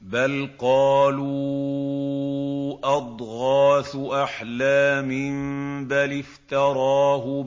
بَلْ قَالُوا أَضْغَاثُ أَحْلَامٍ بَلِ افْتَرَاهُ